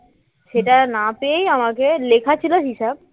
সেটা না পেয়েই আমাকে লেখা ছিল হিসাব